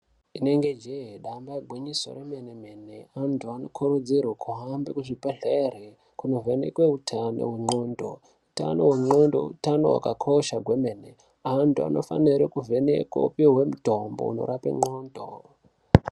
Inenge jee damba igwinyiso re mene mene antu anokurudzirwe kuhambe ku zvibhedhleri kuno vhenekwe utano ndxondo utano hwe ndxondo utano hwakakosha kwemene antu anofanire ku vhenekwe opihwe mutombo unorape ndxondo.